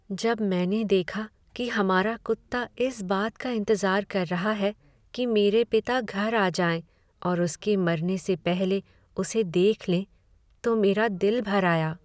जब मैंने देखा कि हमारा कुत्ता इस बात का इंतजार कर रहा है कि मेरे पिता घर आ जाएँ और उसके मरने से पहले उसे देख लें तो मेरा दिल भर आया।